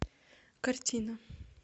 картина